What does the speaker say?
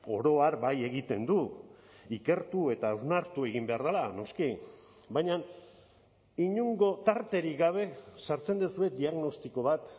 oro har bai egiten du ikertu eta hausnartu egin behar dela noski baina inongo tarterik gabe sartzen duzue diagnostiko bat